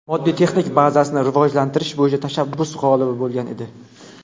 moddiy texnik bazasini rivojlantirish bo‘yicha tashabbus g‘olibi bo‘lgan edi.